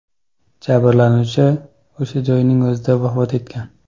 Jabrlanuvchi o‘sha joyning o‘zida vafot etgan.